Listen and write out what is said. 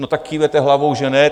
No tak kýváte hlavou, že ne.